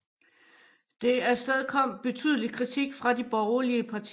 Det afstedkom betydelig kritik fra de borgerlige partier